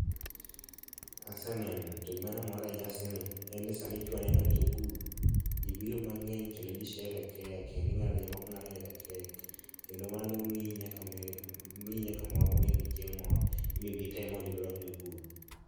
Aseneno to gima nomora ahinya e nyasi ni en ni samichwo ne ng'ato ogudu ji biro mang'eny kendo ji sherekea kendi ingado jomoko ng'ado nyaka kek kendo mano mii nyaka miri miyi nyaka mor mondo imbe chieng' moro imbe ibi tem mondo mi orwakni ogudu.